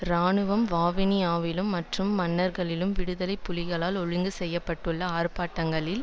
இராணுவம் வவுனியாவிலும் மற்றும் மன்னாரிலும் விடுதலை புலிகளால் ஒழுங்கு செய்ய பட்டுள்ள ஆர்ப்பாட்டங்களில்